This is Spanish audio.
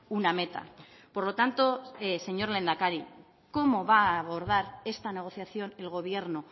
una meta por lo tanto señor lehendakari cómo va a abordar esta negociación el gobierno